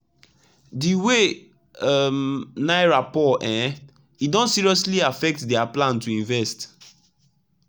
the way um naira poor[um]e don seriously affect their plan to invest